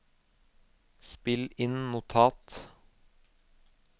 spill inn notat